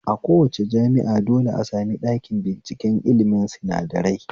A kowace jami'a dole a sami ɗakin binciken ilmin sinadarai